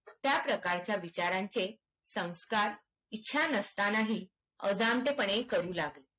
त्या प्रकारच्या विचारांचे संस्कार इच्छा नसतानाही अजनते पणे करू लागेल